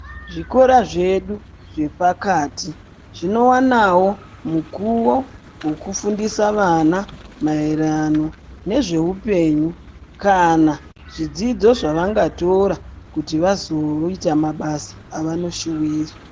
Zvikora zvedu zvepakati zvinowanawo mukuwo wokufundisa ana maererano nezveupenyu kana zvidzidzo zvavangatora kuti vazoita mabasa avanoshuwira.